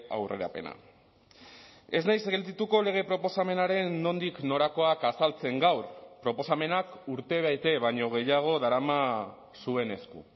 aurrerapena ez naiz geldituko lege proposamenaren nondik norakoak azaltzen gaur proposamenak urtebete baino gehiago darama zuen esku